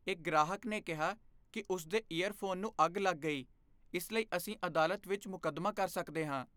ਇੱਕ ਗ੍ਰਾਹਕ ਨੇ ਕਿਹਾ ਕਿ ਉਸ ਦੇ ਈਅਰਫੋਨ ਨੂੰ ਅੱਗ ਲੱਗ ਗਈ। ਇਸ ਲਈ ਅਸੀਂ ਅਦਾਲਤ ਵਿੱਚ ਮੁਕੱਦਮਾ ਕਰ ਸਕਦੇ ਹਾਂ।